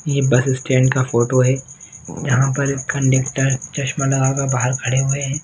ये bus stand का photo हैं यहाँ पर कन्डक्टर चश्मा लगाकर बाहर खड़े हुए हैं।